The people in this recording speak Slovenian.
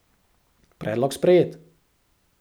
Predlog sprejet.